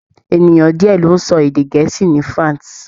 Ènìyàn díẹ̀ ló ń sọ èdè Gẹ̀ẹ́sì ní France.